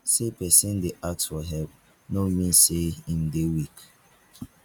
sey pesin dey ask for help no mean sey im dey weak.